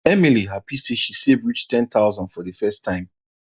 emily happy say she save reach 10000 for the first time